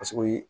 Paseke o ye